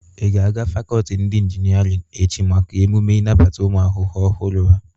Ị ga-aga fakọlti ndị inginerin echi maka emume nabata ụmụ akwụkwọ ọhụrụ ha?